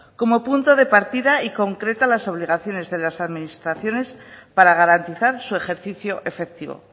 como punto de partida y concreta las obligaciones de las administraciones para garantizar su ejercicio efectivo